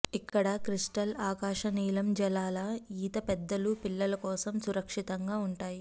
ఇక్కడ క్రిస్టల్ ఆకాశనీలం జలాల ఈత పెద్దలు పిల్లల కోసం సురక్షితంగా ఉంటాయి